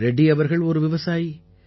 ரெட்டி அவர்கள் ஒரு விவசாயி